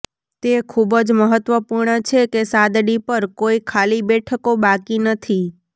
તે ખૂબ જ મહત્વપૂર્ણ છે કે સાદડી પર કોઈ ખાલી બેઠકો બાકી નથી